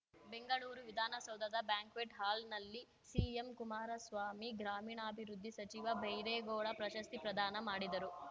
ಬೆಂಗಳೂರು ವಿಧಾನಸೌಧದ ಬ್ಯಾಂಕ್ವೆಟ್‌ ಹಾಲ್‌ನಲ್ಲಿ ಸಿಎಂ ಕುಮಾರಸ್ವಾಮಿ ಗ್ರಾಮೀಣಾಭಿವೃದ್ಧಿ ಸಚಿವ ಬೈರೇಗೌಡ ಪ್ರಶಸ್ತಿ ಪ್ರದಾನ ಮಾಡಿದರು